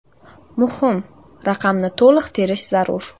Muhim: raqamni to‘liq terish zarur.